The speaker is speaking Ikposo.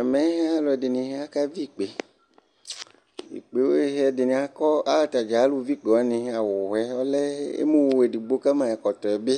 ɛmɛ alò ɛdini aka vi ikpe ikpe ɛdini akɔ atadza alò vi ikpe wani awu yɛ ɔlɛ emu wò edigbo ka ma ɛkɔtɔ yɛ bi